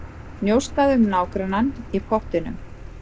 Njósnað um nágrannann í pottinum